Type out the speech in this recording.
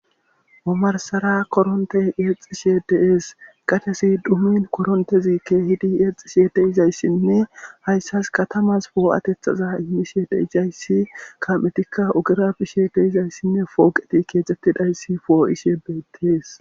omarsara koronte yexxishe deees qatesi dumin korontezikke hidi yeexxishe deizayssinne hayssas katamas boo7atethaza immishe deisayssi ka7etikka ogura bishe deizayssinne fooqeti keecettidayssi foo7ishe beettees